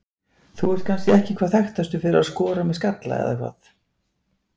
Þú ert kannski ekki hvað þekktastur fyrir að skora með skalla eða hvað?